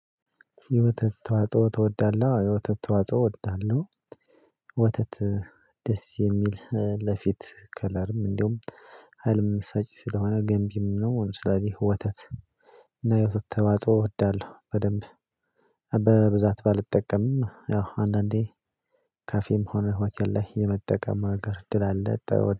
የወተት ተዋጽኦ እወዳለሁ የወተት ተዋጽኦ እወዳለሁ። ወተት ደስ የሚል ለፊት ከለር እንዲሁም ሀይልም ሰጪ ስለሆነ ገንቢም ነው። ለምሳሌ ወተት። እና የወተት ተዋጽዖ እወዳለው በደንብ ደስ የሚል ለፊት ከለርም እንደውም ህልም ስለሆነ ገንቢም ነው። ስለዚህ ወተት የውስጥ ተዋጽኦ እወዳለሁ በደንብ